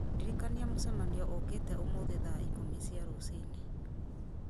ndirikania mũcemanio ũũkĩte ũmũthĩ thaa ikũmi cia rũci-inĩ